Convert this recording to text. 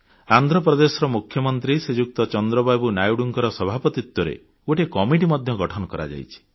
ଆନ୍ଧ୍ର ପ୍ରଦେଶର ମୁଖ୍ୟମନ୍ତ୍ରୀ ଶ୍ରୀଯୁକ୍ତ ଚନ୍ଦ୍ରବାବୁ ନାଇଡୁଙ୍କ ସଭାପତିତ୍ୱରେ ଗୋଟିଏ କମିଟି ମଧ୍ୟ ଗଠନ କରାଯାଇଛି